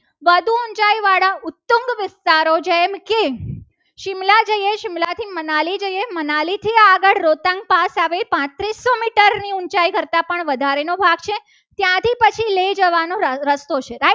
જેમકે સીમલા જઈએ સીમલા થી મનાલી જઈએ. મનાલી થી આગળ રોતાંગ પાસે પાંચસો મીટર ની ઊંચાઈ કરતાં પણ વધારે નો ભાગ છે. ત્યાંથી પછી લઈ જવાનો રસ્તો છે.